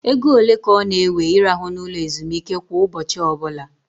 Égo ole ka ọ na ewe I rahụ na ụlọ ezumike kwa ụbọchị ọbụla?